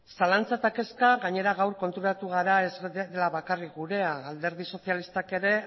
zalantzak eta kezkak gainera gaur konturatu gara ez dela bakarrik gurea alderdi sozialistak ere